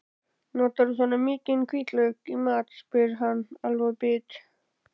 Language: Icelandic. Notarðu svona mikinn hvítlauk í mat, spyr hann alveg bit.